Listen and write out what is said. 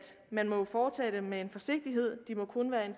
man må fortage dem med en vis forsigtighed de må kun være en